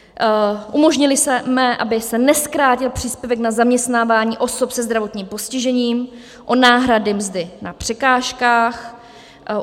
Umožnili jsme, aby se nezkrátil příspěvek na zaměstnávání osob se zdravotním postižením o náhrady mzdy na překážkách.